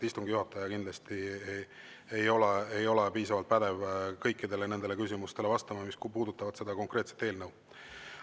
Istungi juhataja kindlasti ei ole piisavalt pädev vastama kõikidele nendele küsimustele, mis puudutavad seda konkreetset eelnõu.